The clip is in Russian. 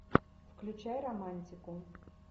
включай романтику